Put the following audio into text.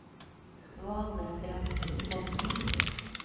Valestrandsfossen